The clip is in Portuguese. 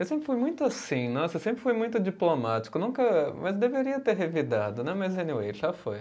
Eu sempre fui muito assim, nossa eu sempre fui muito diplomático nunca, mas deveria ter revidado né, mas anyway, já foi.